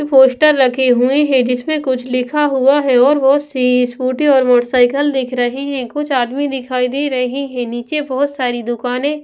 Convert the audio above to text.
poster रखे हुए हैं जिसमें कुछ लिखा हुआ है और बहुत सी स्कूटी और मोटरसाइकिल दिख रही हैं कुछ आदमी दिखाई दे रहे हैं नीचे बहुत सारी दुकानें--